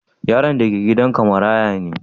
Yaron da ke gidan ka maraya ne?